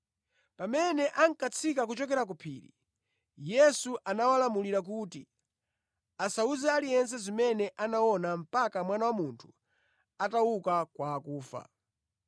Pamene ankatsika kuchokera ku phiri, Yesu anawalamulira kuti asawuze aliyense zimene anaona mpaka Mwana wa Munthu atauka kwa akufa.